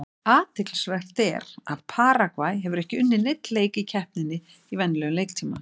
Athyglisvert er að Paragvæ hefur ekki unnið neinn leik í keppninni í venjulegum leiktíma.